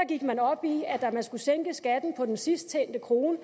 gik man op i at man skulle sænke skatten på den sidst tjente krone